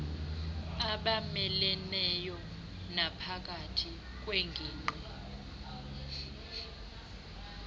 abameleneyo naphakathi kweengingqi